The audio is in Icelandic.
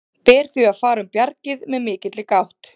Ber því að fara um bjargið með mikilli gát.